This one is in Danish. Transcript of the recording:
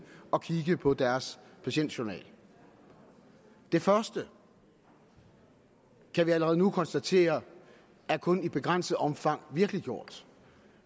at kigge på deres patientjournal det første kan vi allerede nu konstatere kun i begrænset omfang virkeliggjort